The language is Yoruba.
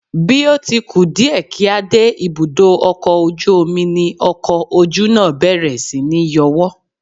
Bí ó ti ku díẹ̀ kí a dé ibùdó ọkọ̀ ojú omi ni ọkọ ojú náà bẹ̀rẹ̀ síní yọwọ́